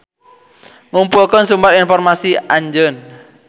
Ngumpulkeun sumber informasi Anjeun.